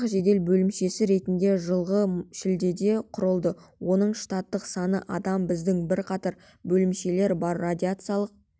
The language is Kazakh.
жасақ жедел бөлімшесі ретінде жылғы шілдеде құрылды оның штаттық саны адам бізде бірқатар бөлімшелер бар радиациялық